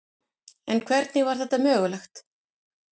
En hvernig var þetta mögulegt?